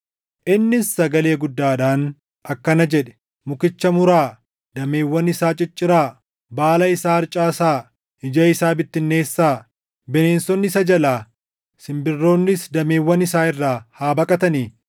Innis sagalee guddaadhaan akkana jedhe: ‘Mukicha muraa; dameewwan isaa cicciraa; baala isaa harcaasaa; ija isaa bittinneessaa. Bineensonni isa jalaa, simbirroonnis dameewwan isaa irraa haa baqatani.